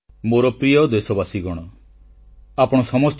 • ଓଡିଶାର ଇତିହାସ ସଂସ୍କୃତି ଅତ୍ୟନ୍ତ ସମୃଦ୍ଧ ଓ ଗୌରବୋଜ୍ଜଳ